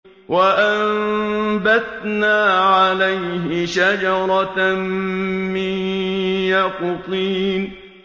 وَأَنبَتْنَا عَلَيْهِ شَجَرَةً مِّن يَقْطِينٍ